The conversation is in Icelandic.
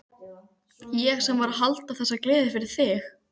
Ég sem var að halda þessa gleði fyrir þig!